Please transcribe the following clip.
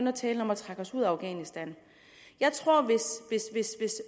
at tale om at trække os ud af afghanistan hvis